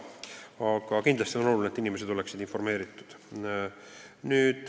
Aga kindlasti on oluline, et inimesed oleksid informeeritud.